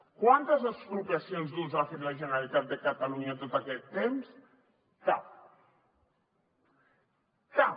quantes expropiacions d’ús ha fet la generalitat de catalunya en tot aquest temps cap cap